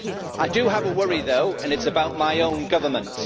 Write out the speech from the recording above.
I do have a worry though, and it is about my own government.